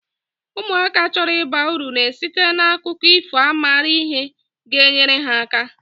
Ụmụaka chọrọ ịba uru na esite na akụkọ ifo a mara ihe ga- enyere ha aka.